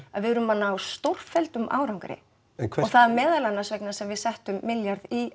að við erum að ná stórfelldum árangri og það er meðal annars vegna þess að við settum milljarð í